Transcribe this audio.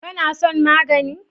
Kana son magani?